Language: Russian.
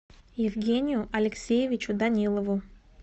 евгению алексеевичу данилову